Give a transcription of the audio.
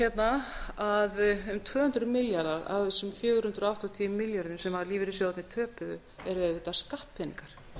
hérna að um tvö hundruð milljarðar af þessum fjögur hundruð áttatíu milljörðum sem lífeyrissjóðirnir töpuðu eru auðvitað skattpeningar